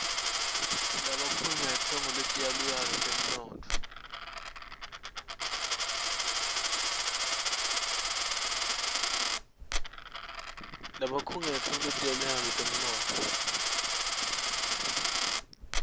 labakhungetfwe nguletiyaluyalu tetemnotfo